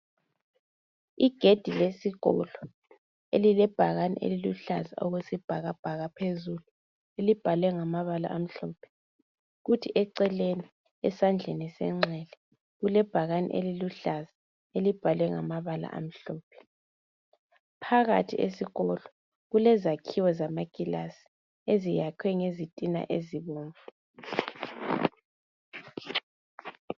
Igedi lesikolo, elilebhakane eliluhlaza okwesibhakabhaka phezulu. Elibhalwe ngamabala amhlophe. Kuthi eceleni, esandleni senxele, kulebhakani eliluhlaza. Elibhalwe ngamabala amhlophe. Phakathi esikolo, kulezakhiwo zamakilasi. Eziyakhiwe ngezitina ezibomvu.